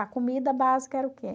A comida básica era o quê?